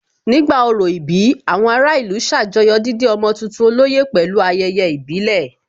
Nígbà orò ìbí, àwọn ará ìlú ṣàjọyọ̀ dídé ọmọ tuntun olóyè pẹ̀lú ayẹyẹ ìbílẹ̀